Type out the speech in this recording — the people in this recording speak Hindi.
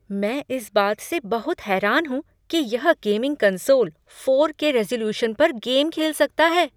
मैं इस बात से बहुत हैरान हूँ कि यह gaming console four K resolution पर गेम खेल सकता है।